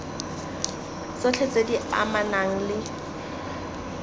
tsotlhe tse di amanang le